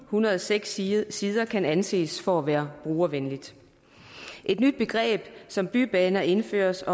hundrede og seks sider sider kan anses for at være brugervenligt et nyt begreb som bybaner indføres